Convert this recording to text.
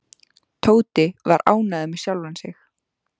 Tóti var ánægður með sjálfan sig.